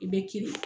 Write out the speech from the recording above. I bɛ kirin